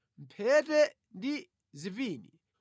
mphete ndi zipini,